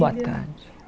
Boa tarde